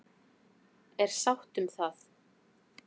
Er sátt um það?